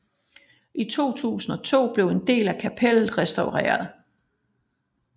I 2002 blev en del af kapellet restaureret